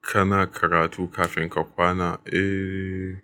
Kana karatu kafin ka kwana? Eh,